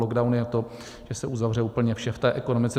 Lockdown je to, že se uzavře úplně vše v té ekonomice.